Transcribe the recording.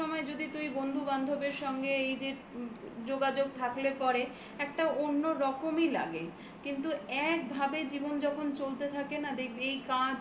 সব সময় যদি তুই বন্ধু বান্ধবের সঙ্গে এই যে যোগাযোগ থাকলে পরে একটা অন্য রকমই লাগে। কিন্তু একভাবে জীবন যখন চলতে থাকে না দেখবি এই কাজ কাজ